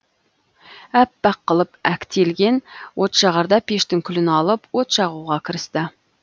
әппақ қылып әктелген отжағарда пештің күлін алып от жағуға кірісті